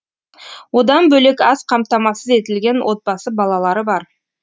одан бөлек аз қамтамасыз етілген отбасы балалары бар